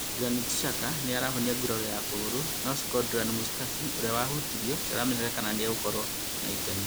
Granit Xhaka nĩ arahonia gũrario wa kũgũrũ na Shkodran Mustafi, ũrĩa wahutirio, ndamenyekete kana nĩ egũkorũo na itemi.